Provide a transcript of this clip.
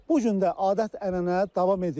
Bu gün də adət-ənənə davam edir.